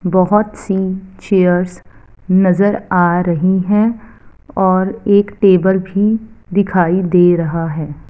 बहोत सी चेयर्स नजर आ रही है और एक टेबल भी दिखाई दे रहा है।